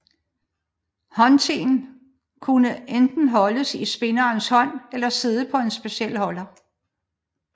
Håndtenen kunne enten holdes i spinderens hånd eller sidde på en speciel holder